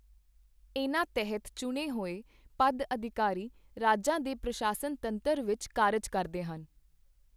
ਇਨ੍ਹਾਂ ਤਹਿਤ ਚੁਣੇ ਹੋਏ ਪਦ ਅਧਿਕਾਰੀ ਰਾਜਾਂ ਦੇ ਪ੍ਰਸ਼ਾਸਨ ਤੰਤਰ ਵਿੱਚ ਕਾਰਜ ਕਰਦੇ ਹਨ।